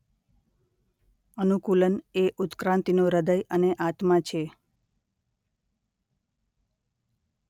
અનુકૂલન એ ઉત્ક્રાંતિનો હૃદય અને આત્મા છે.